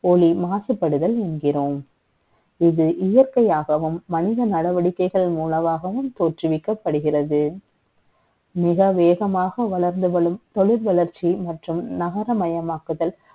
ஒளி மாசுபடுதல் என்கிற ோம் இது இயற்கை யாகவும், மனித நடவடிக்கை கள் மூலமாகவும் த ோற்றுவிக்கப்படுகிறது. மிக வே கமாக வளர்ந்து வரும் த ொழில் வளர்ச்சி மற்றும் நகரமயமாக்குதல்,